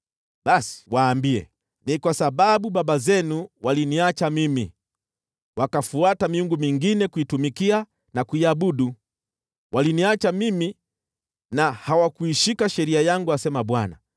Basi waambie, ‘Ni kwa sababu baba zenu waliniacha mimi, wakafuata miungu mingine ili kuitumikia na kuiabudu. Waliniacha mimi na hawakuishika sheria yangu,’ asema Bwana .